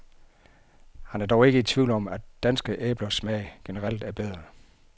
Han er dog ikke i tvivl om, at danske æblers smag generelt er bedre.